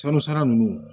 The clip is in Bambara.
Sanu sara ninnu